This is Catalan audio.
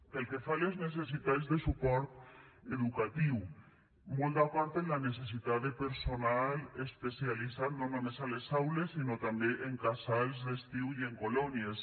pel que fa a les necessitats de suport educatiu molt d’acord amb la necessitat de personal especialitzat no només a les aules sinó també en casals d’estiu i en colònies